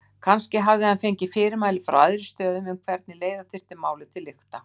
Kannski hafði hann fengið fyrirmæli frá æðri stöðum um hvernig leiða þyrfti málið til lykta.